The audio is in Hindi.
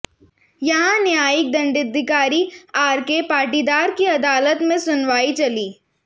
यहां न्यायिक दंडाधिकारी आरके पाटीदार की अदालत में सुनवाई चली